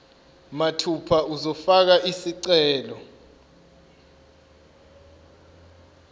mathupha uzofaka isicelo